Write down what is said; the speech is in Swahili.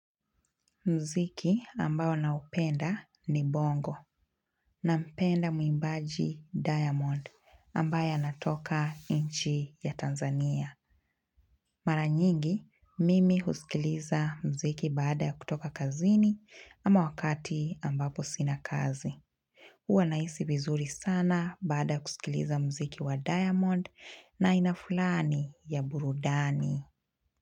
Mziki ambao naupenda ni bongo nampenda muimbaji diamond ambaye anatoka inchi ya Tanzania. Mara nyingi, mimi husikiliza mziki baada kutoka kazini ama wakati ambapo sina kazi. Huwa naisi vizuri sana baada kusikiliza mziki wa diamond na aina fulani ya burudani.